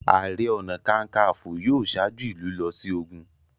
Ààrẹ ọ̀nà kakaǹfò yóò ṣáájú ìlú lọ sí ogun.